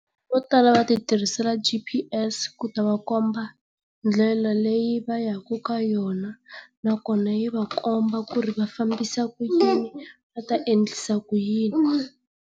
Vo tala va ti tirhisela G_P_S ku ta va komba ndlela leyi va yaka ka yona nakona yi va komba ku ri va fambisa ku yini va ta endlisa ku yini.